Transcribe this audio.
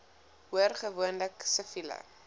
hoor gewoonlik siviele